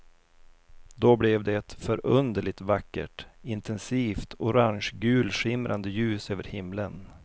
Då blev det ett förunderligt vackert, intensivt orangegulskimrande ljus över himlen.